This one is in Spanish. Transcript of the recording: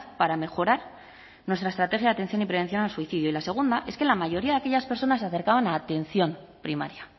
para mejorar nuestra estrategia de atención y prevención del suicidio y la segunda es que la mayoría de aquellas personas se acercaban a atención primaria